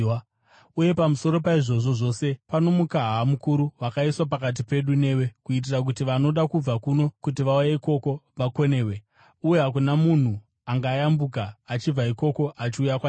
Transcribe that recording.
Uye pamusoro paizvozvo zvose, pano mukaha mukuru wakaiswa pakati pedu newe, kuitira kuti vanoda kubva kuno kuti vauye ikoko vakonewe, uye hakuna munhu angayambuka achibva ikoko achiuya kwatiri.’